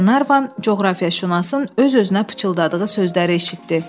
Glevan coğrafiyaşünasın öz-özünə pıçıldadığı sözləri eşitdi.